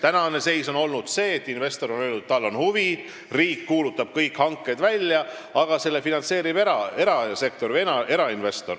Praegune seis on aga see, et investor on öelnud, et tal on huvi, riik kuulutab kõik hanked välja, aga seda finantseerib erasektor.